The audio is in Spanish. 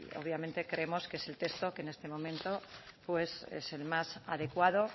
obviamente creemos que es el texto que en este momento pues es el más adecuado